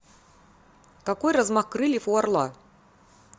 какой размах крыльев у орла